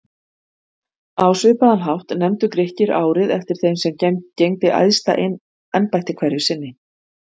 Á svipaðan hátt nefndu Grikkir árið eftir þeim sem gegndi æðsta embætti hverju sinni.